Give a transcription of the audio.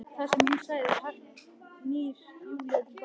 Það sem hún sagði- Hægt snýr Júlía til baka.